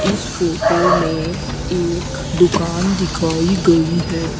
इस फोटो में एक दुकान दिखाई गई है।